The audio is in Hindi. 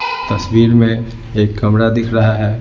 तस्वीर में एक कमरा दिख रहा है।